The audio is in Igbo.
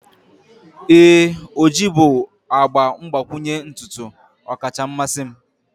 ee, ojii bụ agba mgbakwunye ntutu ọkacha mmasị m.